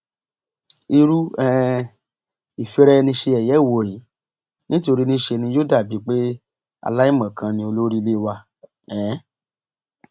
irú um ìfiraẹniṣeyẹyẹ wò rèé nítorí níṣe ni yóò dà bíi pé aláìmọkan ni olórí ilé wa um